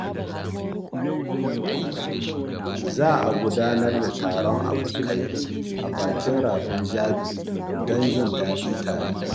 Za a gudanar da taron abokai a bakin rafin Jabi don jin daɗi tare.